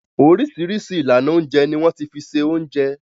Oríṣiríṣi ìlànà oúnjẹ ni wọ́n ti fi se oúnjẹ.